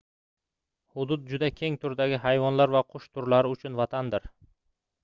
hudud juda keng turdagi hayvonlar va qush turlari uchun vatandir